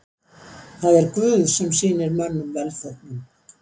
Það er Guð sem sýnir mönnum velþóknun.